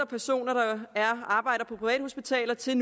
personer der arbejder på privathospitaler til et